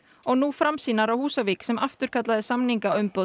og nú Framsýnar á Húsavík sem afturkallaði